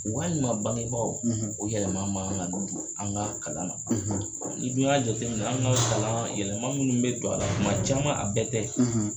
Walima bangebaw, o yɛlɛma ma kan don an ka kalan na, ni dun y'a jate minɛ, anw ka kalan yɛlɛma minnu bɛ don a la tuma caman, a bɛɛ tɛ